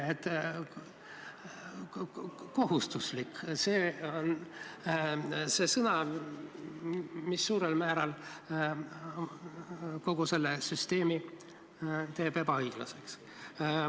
"Kohustuslik" – see on sõna, mis suurel määral teeb kogu selle süsteemi ebaõiglaseks.